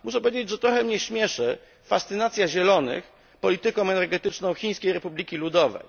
Muszę powiedzieć, że trochę mnie śmieszy fascynacja Zielonych polityką energetyczną Chińskiej Republiki Ludowej.